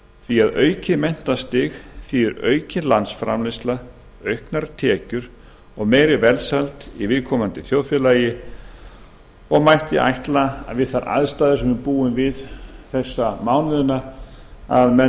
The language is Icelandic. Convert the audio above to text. því að aukið menntastig þýðir aukin landsframleiðsla auknar tekjur og meiri velsæld í þjóðfélaginu og mætti ætla við þær aðstæður sem við búum við þessa mánuðina að menn